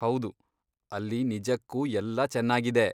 ಹೌದು, ಅಲ್ಲಿ ನಿಜಕ್ಕೂ ಎಲ್ಲ ಚೆನಾಗಿದೆ.